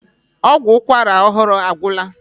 Ọgwụ ụkwara ọhụrụ agwụla.